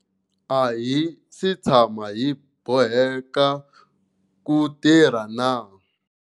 A hi si tshama hi boheka ku tirhana na.